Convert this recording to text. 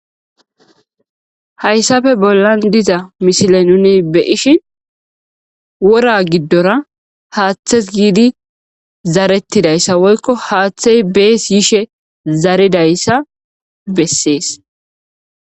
hayssafe bollan diza mishile nuni beyishi wora giddora haaththes giidi zarettidayssa woykko haaththey bees yishe zaridayssa bessees